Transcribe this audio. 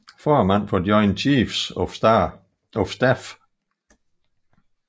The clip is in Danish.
Formand for Joint Chiefs of Staff